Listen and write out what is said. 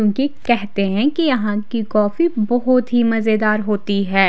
इनकी कहते है की यहाँ की कॉफ़ी बहोत ही मजेदार होते है।